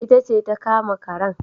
Ita ce ta kama karen